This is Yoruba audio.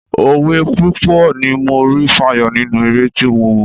Òwe púpọ̀ ni mo rí fàyọ nínú eré tí mo wò.